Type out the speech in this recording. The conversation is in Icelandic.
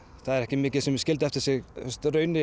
það var ekki mikið sem þau skildu eftir sig í rauninni